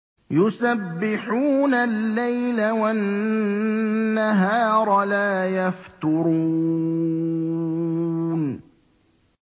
يُسَبِّحُونَ اللَّيْلَ وَالنَّهَارَ لَا يَفْتُرُونَ